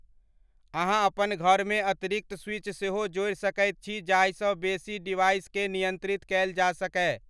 अहां अपन घर मे अतिरिक्त स्विच सेहो जोड़ि सकइत छी जाहि सॅ बेसि डिवाइसकें नियंत्रित कएल जा सकय।